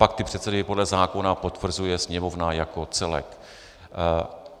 Pak ty předsedy podle zákona potvrzuje Sněmovna jako celek.